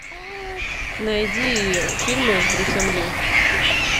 найди фильмы с брюсом ли